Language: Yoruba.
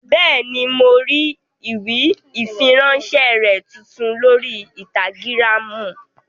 Bẹ́ẹ̀ni, mo rí ìfiránsẹ́ rẹ tuntun lórí ínstágíráàmù